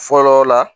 Fɔlɔ la